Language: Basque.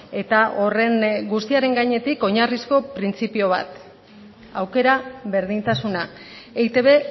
eta horren guztiaren gainetik oinarrizko printzipio bat aukera berdintasuna eitb